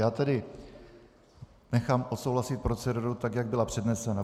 Já tedy nechám odsouhlasit proceduru tak, jak byla přednesena.